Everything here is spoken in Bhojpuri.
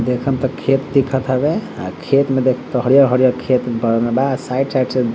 देखम त खेत दिखत हवे अ खेत में त हरियर-हरियर खेत बनल बा साइड - साइड से --